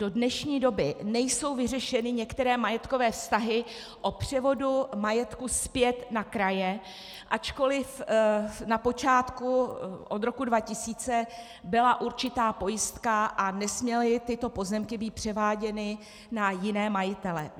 Do dnešní doby nejsou vyřešeny některé majetkové vztahy o převodu majetku zpět na kraje, ačkoliv na počátku od roku 2000 byla určitá pojistka a nesměly tyto pozemky být převáděny na jiné majitele.